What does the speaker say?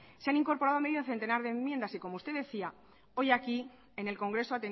se han incorporado medio centenar de enmiendas y como usted decía hoy aquí en el congreso